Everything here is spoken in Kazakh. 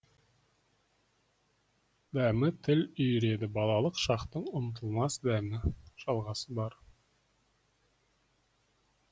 дәмі тіл үйіреді балалық шақтың ұмытылмас дәмі жалғасы бар